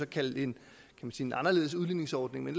kalde en anderledes udligningsordning men